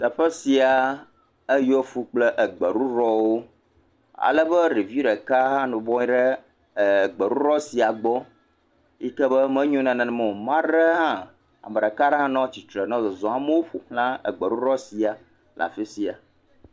Teƒe sia eyɔ fũu kple egbeɖuɖɔwo alebe ɖevi ɖeka hã nɔ anyi ɖe gbeɖuɖɔ sia gbɔ yi ke be menyo nenema o, ame aɖe hã ame ɖeka aɖe hã nɔ tsitre nɔ zɔzɔm amewo ƒoxla gbeɖuɖɔ sia.